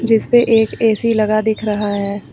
जिसपे पे एक ऐ_सी लगा दिख रहा है।